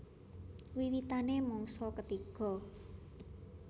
Wiwitané mangsa ketiga